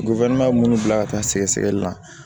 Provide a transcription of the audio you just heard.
munnu bila ka taa sɛgɛsɛli la